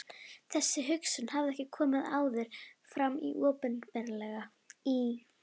Þessi hugsun hafði ekki komið áður fram opinberlega í